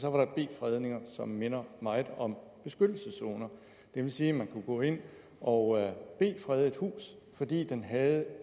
så var der b fredninger som minder meget om beskyttelseszoner det vil sige man kunne gå ind og b frede et hus fordi det havde